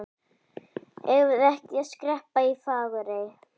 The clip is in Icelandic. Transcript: Eigum við ekki að skreppa í Fagurey?